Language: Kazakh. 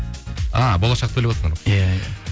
а болашақты иә иә